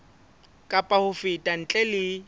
kapa ho feta ntle le